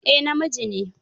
Eh, namiji ne?